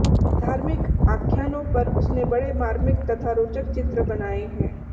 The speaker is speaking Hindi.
धार्मिक आख्यानों पर उसने बड़े मार्मिक तथा रोचक चित्र बनाए हैं